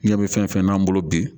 Ɲɛ bɛ fɛn fɛn n'an bolo bi